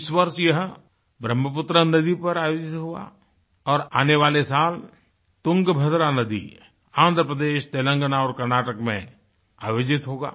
इस वर्ष यह ब्रह्मपुत्र नदी पर आयोजित हुआ और आने वाले सालतुंगभद्रा नदी आँध्रप्रदेश तेलंगाना और कर्नाटक में आयोजित होगा